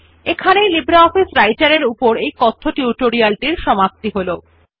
এই লিব্রিঅফিস রাইটের এর এই কথ্য টিউটোরিয়াল টির সমাপ্তি হল